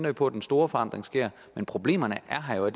vi på at den store forandring sker problemerne er her jo